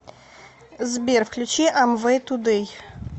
сбер включи амвэй тудэй